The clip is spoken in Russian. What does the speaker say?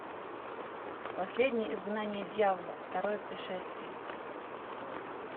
последнее изгнание дьявола второе пришествие